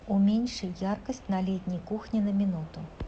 уменьши яркость на летней кухне на минуту